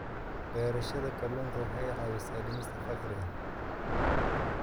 Beerashada kalluunka waxa ay caawisaa dhimista faqriga.